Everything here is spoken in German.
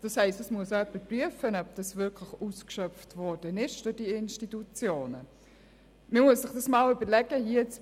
Das bedeutet, dass jemand prüfen muss, ob es von diesen Institutionen ausgeschöpft worden ist.